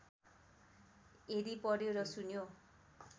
यदि पढ्यो र सुन्यो